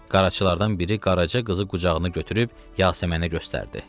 Qaraçılardan biri qarajı qızı qucağına götürüb Yasəmənə göstərdi.